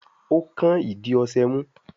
o kán ìdí ọṣẹ mú